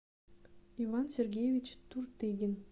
иван сергеевич туртыгин